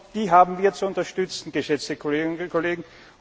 Die haben wir zu unterstützen, geschätzte Kolleginnen und Kollegen.